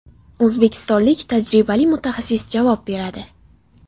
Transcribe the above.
O‘zbekistonlik tajribali mutaxassis javob beradi.